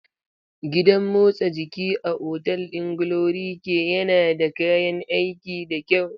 Gidan motsa jiki a otal ɗin GloryKay yana da kayan aiki da kyau.